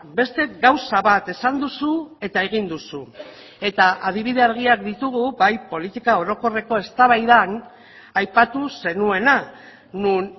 beste gauza bat esan duzu eta egin duzu eta adibide argiak ditugu bai politika orokorreko eztabaidan aipatu zenuena non